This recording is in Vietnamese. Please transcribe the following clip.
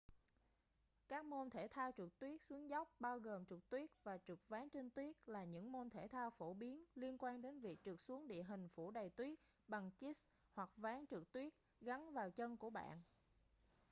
các môn thể thao trượt tuyết xuống dốc bao gồm trượt tuyết và trượt ván trên tuyết là những môn thể thao phổ biến liên quan đến việc trượt xuống địa hình phủ đầy tuyết bằng skis hoặc ván trượt tuyết gắn vào chân của bạn